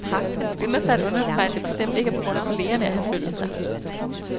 Han skynder sig at understrege, at det bestemt ikke er på grund af kollegerne, at han flyttede sig.